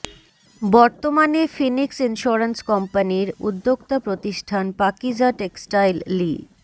বর্তমানে Phoenix insurance কোম্পানির উদ্যোক্তা প্রতিষ্ঠান পাকিজা টেক্সটাইল লি